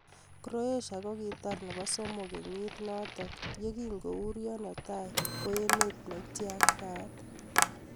Croatia kokikatar nebo somok kenyit notok yekingo urio netai ko emet ne ityaktaat.